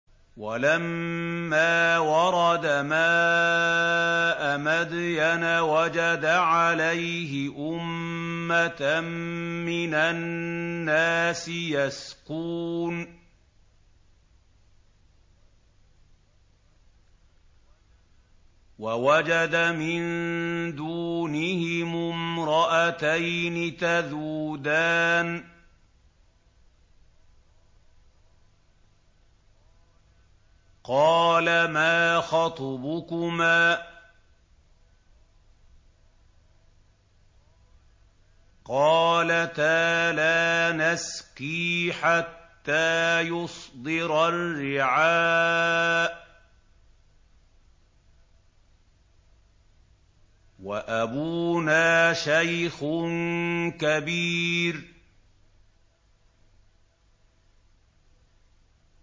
وَلَمَّا وَرَدَ مَاءَ مَدْيَنَ وَجَدَ عَلَيْهِ أُمَّةً مِّنَ النَّاسِ يَسْقُونَ وَوَجَدَ مِن دُونِهِمُ امْرَأَتَيْنِ تَذُودَانِ ۖ قَالَ مَا خَطْبُكُمَا ۖ قَالَتَا لَا نَسْقِي حَتَّىٰ يُصْدِرَ الرِّعَاءُ ۖ وَأَبُونَا شَيْخٌ كَبِيرٌ